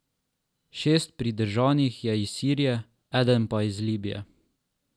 Šest pridržanih je iz Sirije, eden pa iz Libije.